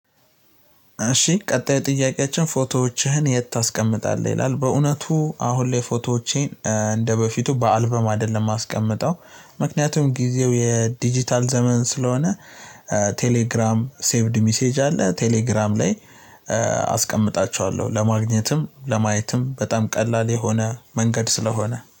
እሺ ቀጣይ ጥያቄያችን ፎቶዎችህን የት ታስቀምጣለህ ይላል? በእውነቱ አሁን ላይ ፎቶዎቼን እንደ በፊቱ በአልበም አይደለም የማስቀምጠው ምክንያቱም ጊዜው የዲጂታል ዘመን ስለሆነ። ቴሌግራም ሴቭድ ሚሴጅ አለ ቴሌግራም ላይ። አስቀምጣቸዋለሁ ለማግኘትም ለማየትም በጣም ቀላል የሆነ መንገድ ስለሆነ